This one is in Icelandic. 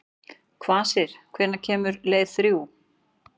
Kvasir, hvenær kemur leið númer þrjú?